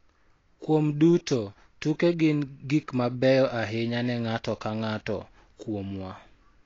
Kuom duto, tuke gin gik mabeyo ahinya ne ng�ato ka ng�ato kuomwa.